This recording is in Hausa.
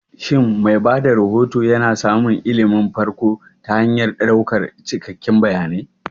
Shin mai ba da rahoto yana samun ilimin farko ta hanyar ɗaukan cikakkun bayanai?